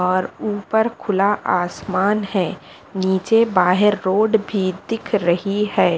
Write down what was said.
और ऊपर खुला आसमान है नीचे बाहेर रोड भी दिख रही है।